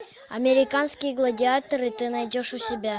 американские гладиаторы ты найдешь у себя